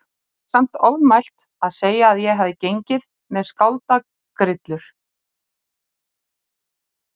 Það væri samt ofmælt að segja að ég hafi gengið með skáldagrillur.